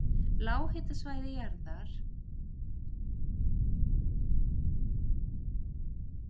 Lághitasvæði- jaðrar gliðnunarbeltanna